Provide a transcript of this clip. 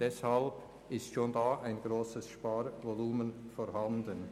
Deshalb ist schon da ein grosses Sparvolumen vorhanden.